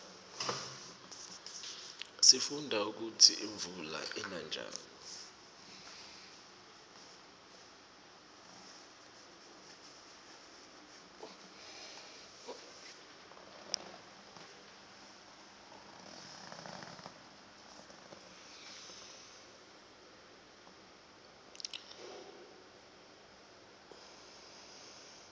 sifundza kutsi imuula ina njani